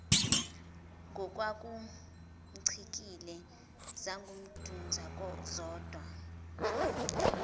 ngokwakumcikile zangunduza zodwa